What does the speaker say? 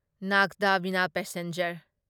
ꯅꯥꯒꯗꯥ ꯕꯤꯅꯥ ꯄꯦꯁꯦꯟꯖꯔ